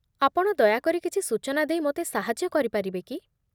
ଆପଣ ଦୟାକରି କିଛି ସୂଚନା ଦେଇ ମୋତେ ସାହାଯ୍ୟ କରିପାରିବେ କି?